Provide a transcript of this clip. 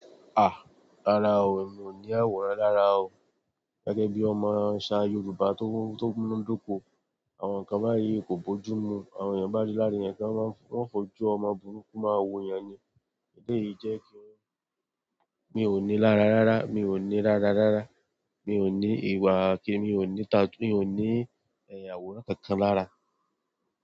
Ah! Rárá o, mi ò ní àwòrán lára o. Gẹ́gẹ́ bí ọmọ aṣa Yoruba tó mú to munadoko, àwọn kan bá yìí kò bójú mu, àwọn èèyàn bá rí lára èèyàn kí wọ́n o fojú ọmọ burúkú máa wo yàn ni. Ẹ̀lẹ yìí jẹ́ kí mi ò ní lára rárá, mi ò ní lárá rárá, mi ò ní ìwà kí mi ò ní tattoos, mi ò ní ẹ̀yà àwòrán kankan lára.